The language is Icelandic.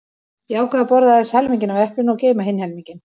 Ég ákvað að borða aðeins helminginn af eplinu og geyma hinn helminginn.